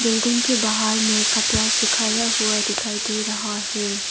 Building के बाहर में कपड़ा सुखाया हुआ दिखाई दे रहा है।